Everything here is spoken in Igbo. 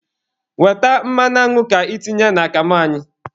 Weta mmanụ añụ ka itinye n'akamụ anyị.